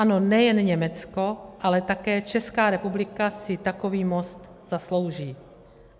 Ano, nejen Německo, ale také Česká republika si takový most zaslouží.